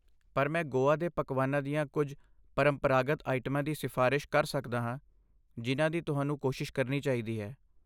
ਪਰ ਮੈਂ ਗੋਆ ਦੇ ਪਕਵਾਨਾਂ ਦੀਆਂ ਕੁਝ ਪਰੰਪਰਾਗਤ ਆਈਟਮਾਂ ਦੀ ਸਿਫ਼ਾਰਸ਼ ਕਰ ਸਕਦਾ ਹਾਂ ਜਿਨ੍ਹਾਂ ਦੀ ਤੁਹਾਨੂੰ ਕੋਸ਼ਿਸ਼ ਕਰਨੀ ਚਾਹੀਦੀ ਹੈ।